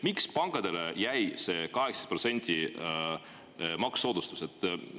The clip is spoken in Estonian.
Miks jäi pankadele see 8% maksusoodustust?